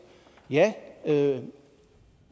jo